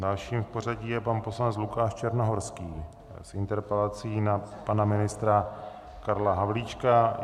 Dalším v pořadí je pan poslanec Lukáš Černohorský s interpelací na pana ministra Karla Havlíčka.